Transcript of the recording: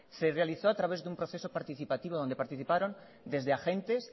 se realizó a través de un proceso participativo donde participaron desde agentes